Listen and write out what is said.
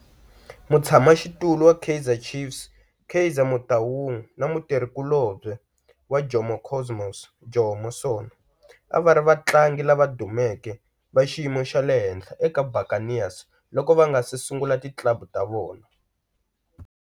Mutshama xitulu wa Kaizer Chiefs Kaizer Motaung na mutirhi kulobye wa Jomo Cosmos Jomo Sono a va ri vatlangi lava dumeke va xiyimo xa le henhla eka Buccaneers loko va nga si sungula ti club ta vona.